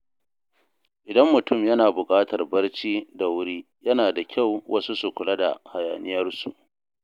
Idan mutum yana buƙatar barci da wuri, yana da kyau wasu su kula da hayaniyarsu.